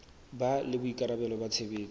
ba le boikarabelo ba tshebetso